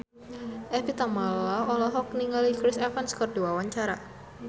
Evie Tamala olohok ningali Chris Evans keur diwawancara